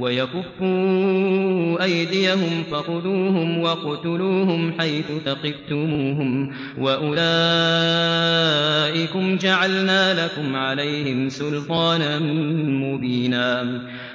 وَيَكُفُّوا أَيْدِيَهُمْ فَخُذُوهُمْ وَاقْتُلُوهُمْ حَيْثُ ثَقِفْتُمُوهُمْ ۚ وَأُولَٰئِكُمْ جَعَلْنَا لَكُمْ عَلَيْهِمْ سُلْطَانًا مُّبِينًا